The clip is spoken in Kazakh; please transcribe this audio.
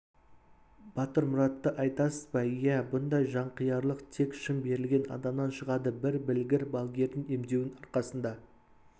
батырмұратты айтасыз ба иә бұндай жанқиярлық тек шын берілген адамнан шығады бір білгір балгердің емдеуінің арқасында